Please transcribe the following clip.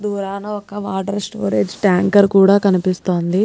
దూరాన ఒక్క water storage tanker కూడా కనిపిస్తోంది.